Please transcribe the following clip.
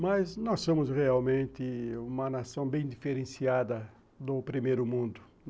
Mas nós somos realmente uma nação bem diferenciada do primeiro mundo.